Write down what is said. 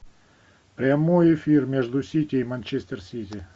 прямой эфир между сити и манчестер сити